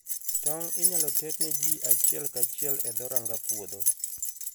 Tong' inyalo ter ne ji achiel kachiel e dho ranga puodho.